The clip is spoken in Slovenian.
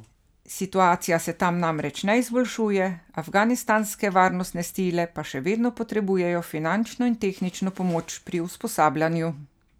Situacija se tam namreč ne izboljšuje, afganistanske varnostne sile pa še vedno potrebujejo finančno in tehnično pomoč pri usposabljanju.